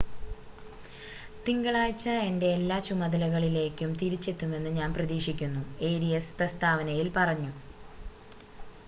തിങ്കളാഴ്ച എൻ്റെ എല്ലാ ചുമതലകളിലേക്കും തിരിച്ചെത്തുമെന്ന് ഞാൻ പ്രതീക്ഷിക്കുന്നു ഏരിയസ് പ്രസ്താവനയിൽ പറഞ്ഞു